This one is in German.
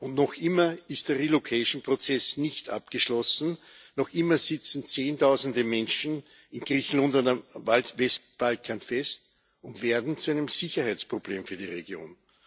Und noch immer ist der Prozess nicht abgeschlossen, noch immer sitzen Zehntausende Menschen in Griechenland und auf dem Westbalkan fest und werden zu einem Sicherheitsproblem für die Region.